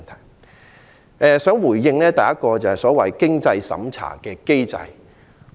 首先，我想回應所謂"經濟審查"的機制。